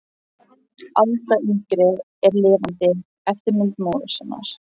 Alda yngri er lifandi eftirmynd móður sinnar.